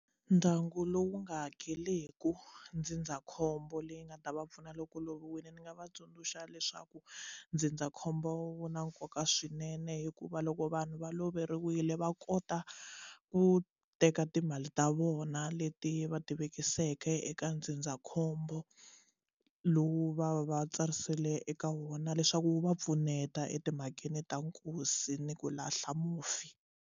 Ndyangu lowu nga hakeliku ndzindzakhombo leyi nga ta va pfuna loko loviwile ni nga va tsundzuxa leswaku ndzindzakhombo wu na nkoka swinene hikuva loko vanhu va loveriwile va kota ku teka timali ta vona leti va ti vekiseke eka ndzindzakhombo lowu va va va tsarisile eka wona leswaku wu va pfuneta etimhakeni ta nkosi ni ku lahla mufi.